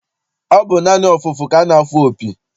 Ọ bụ naanị ọfụfụ ka a na-afụ opi.